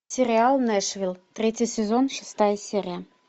сериал нэшвилл третий сезон шестая серия